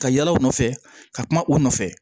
Ka yala u nɔ nɔfɛ ka kuma u nɔfɛ